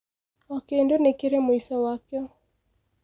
o kĩndũ nĩ kĩrĩ mũico wakĩo